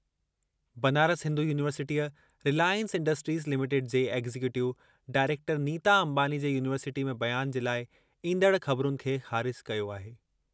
बनारस हिंदू यूनिवर्सिटीअ Reliance Industries Limited जे executive director Nita Ambani जे यूनिवर्सिटीअ में बयान जे लाइ ईंदड़ ख़बरुनि खे ख़ारिज कयो आहे।